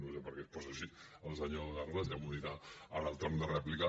no sé per què es posa així el senyor sanglas ja m’ho dirà en el torn de rèplica